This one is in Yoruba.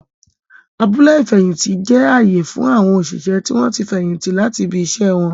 Abúlé ifẹhinti jẹ ààyè fún awọn oṣiṣẹ tí o tí fẹyìntì láti ibì iṣẹ wọn